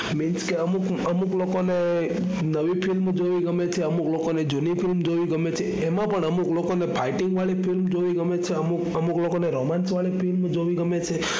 means કે અમુક અમુક લોકો ને નવી film જોવી ગમે છે, અમુક લોકો ને જૂની ફિલ્મ જોવી ગમે છે એમાં પણ અમુક લોકો ને fighting વાળી ફિલ્મ જોવી ગમે છે, અમુક અમુક લોકો ને romance વાળી ફિલ્મ જોવી ગમે છે.